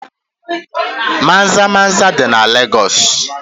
Maza-maza dị na Legọs.